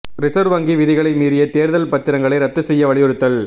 reserve வங்கி விதிகளை மீறிய தேர்தல் பத்திரங்களை ரத்து செய்ய வலியுறுத்தல்